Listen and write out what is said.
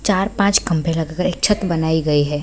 चार-पाँच खंभे लग गए एक छत बनाई गई है |